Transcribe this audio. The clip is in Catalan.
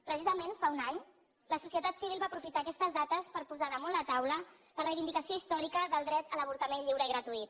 precisament fa un any la societat civil va aprofitar aquestes dates per posar damunt la taula la reivindicació històrica del dret a l’avortament lliure i gratuït